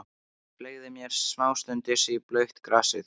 Ég fleygði mér samstundis í blautt grasið.